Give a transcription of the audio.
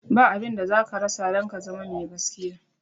Ba abinda zaka rasa don ka zama me gaskiya.